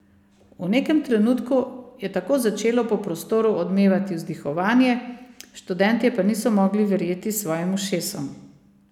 V nekem trenutku je tako začelo po prostoru odmevati vzdihovanje, študentje pa niso mogli verjeti svojim ušesom.